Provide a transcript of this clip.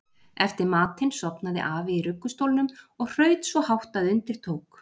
Eftir matinn sofnaði afi í ruggustólnum og hraut svo hátt að undir tók.